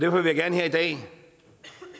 vil jeg gerne her i dag